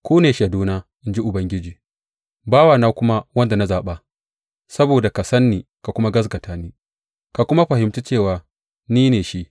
Ku ne shaiduna, in ji Ubangiji, bawana kuma wanda na zaɓa, saboda ka sani ka kuma gaskata ni ka kuma fahimci cewa ni ne shi.